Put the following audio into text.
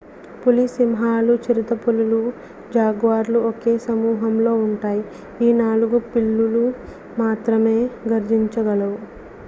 పులి సింహాలు చిరుతపులులు జాగ్వర్లు ఒకే సమూహంలో జెనస్ పాంతేరా ఉంటాయి ఈ నాలుగు పిల్లులు మాత్రమే గర్జించగలవు